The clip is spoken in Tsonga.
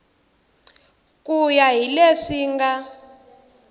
ku ya hi leswi nga